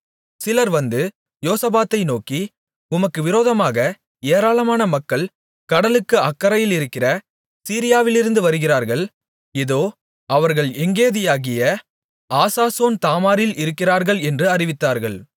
சிலர் வந்து யோசபாத்தை நோக்கி உமக்கு விரோதமாக ஏராளமான மக்கள் கடலுக்கு அக்கரையிலிருக்கிற சீரியாவிலிருந்து வருகிறார்கள் இதோ அவர்கள் எங்கேதியாகிய ஆசாசோன் தாமாரில் இருக்கிறார்கள் என்று அறிவித்தார்கள்